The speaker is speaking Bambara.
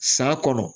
San kɔnɔ